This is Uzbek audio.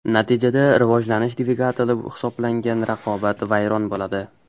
Natijada rivojlanish dvigateli hisoblangan raqobat vayron bo‘ladi.